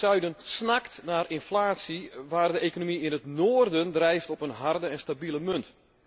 Het zuiden snakt naar inflatie, waar de economie in het noorden drijft op een harde en stabiele munt.